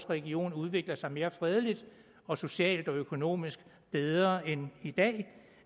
region udvikler sig mere fredeligt og socialt og økonomisk bedre end i dag